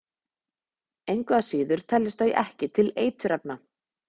engu að síður teljast þau ekki til eiturefna